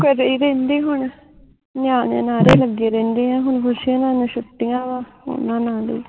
ਘਰੇ ਰਹਿੰਦੇ ਹੁਣ ਨਿਆਣਿਆਂ ਨਾਲ਼ੇ ਲਗੇ ਰਹਿੰਦੇ ਆ ਹੁਣ ਖੁਸ਼ੀ ਹੁਣਾ ਨੂੰ ਛੁਟੀਆਂ ਵਾ ਓਹਨਾ ਨਾਲ ਹੀ